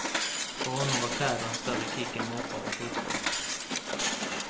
För honom var kläder en större kick än moppar och fotboll.